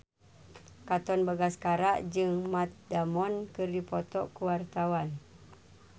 Katon Bagaskara jeung Matt Damon keur dipoto ku wartawan